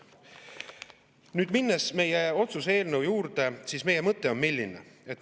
Nüüd, minnes meie otsuse eelnõu juurde, siis milline on meie mõte?